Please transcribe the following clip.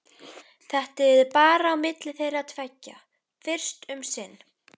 Þetta yrði bara á milli þeirra tveggja fyrst um sinn.